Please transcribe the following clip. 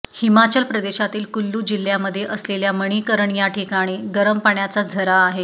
हिमाचल प्रदेशातील कुल्लू जिल्ह्यामध्ये असलेल्या मणीकरण या ठिकाणी गरम पाण्याचा झरा आहे